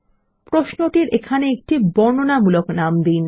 প্রশ্নটির এখানে একটি বর্ণনামূলক নাম দিন